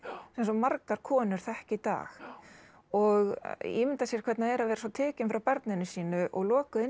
eins og margar konur þekkja í dag og ímynda sér hvernig það er að vera tekin frá barninu sínu og lokuð inni